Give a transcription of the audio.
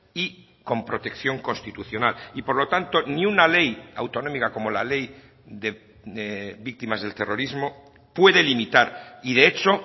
y con protección constitucional y por lo tanto ni una ley autonómica como la ley de víctimas del terrorismo puede limitar y de hecho